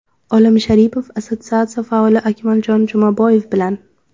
Olim Sharipov assotsiatsiya faoli Akmaljon Jumaboyev bilan.